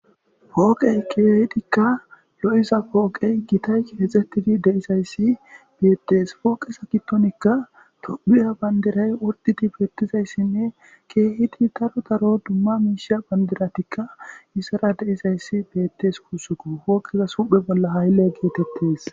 Pooqey keehidikka lo'iza pooqey gitay keexxettidi deizayssi beettes pooqisa gittonikka tophiya bandiray ordidi beettizayssinne keehidi taro daro dumma miishiya bandiratikka isara deizayssi beettes kuussuku hooqiza suphe bolla haylle geetettes.